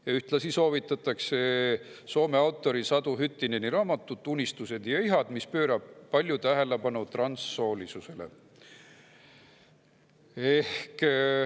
Ja ühtlasi soovitatakse Soome autori Satu Hyttineni raamatut "Unistused ja ihad", mis pöörab palju tähelepanu transsoolisusele.